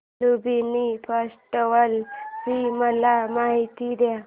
Lumbini festival ची मला माहिती दे